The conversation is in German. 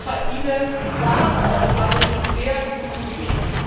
Die Ukraine war auf einem sehr guten Weg.